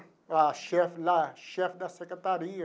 A chefe lá, chefe da secretaria.